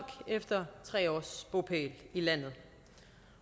efter tre års bopæl i landet